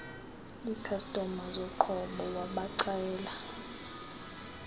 ikhastoma zoqobo wabacela